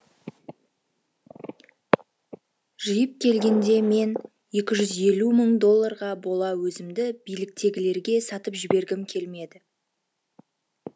жиып келгенде мен екі жүз елу мың долларға бола өзімді биліктегілерге сатып жібергім келмеді